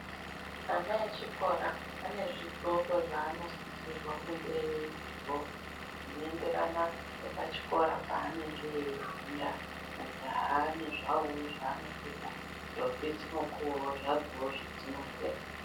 Ana echikora ane zvidxoko, zvaanosisirwa kunge eidxoka, zvinoenderana nepachikora paanenge eifunda. Majaha ane zvavowo zvaanopfeka, ndombi dzinopuwawo zvadzowo zvedzinopfeka.